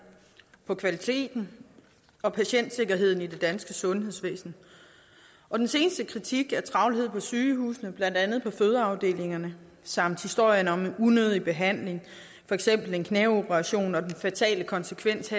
på kvaliteten og patientsikkerheden i det danske sundhedsvæsen og den seneste kritik af travlhed på sygehusene blandt andet på fødeafdelingerne samt historien om en unødig behandling for eksempel en knæoperation og den fatale konsekvens